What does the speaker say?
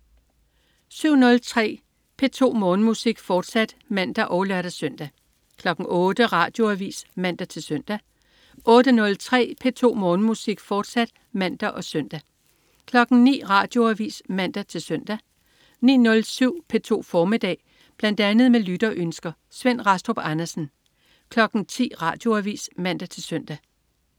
07.03 P2 Morgenmusik, fortsat (man og lør-søn) 08.00 Radioavis (man-søn) 08.03 P2 Morgenmusik, fortsat (man og søn) 09.00 Radioavis (man-søn) 09.07 P2 formiddag. Bl.a. med lytterønsker. Svend Rastrup Andersen 10.00 Radioavis (man-søn)